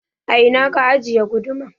A ina ka ajiye guduma?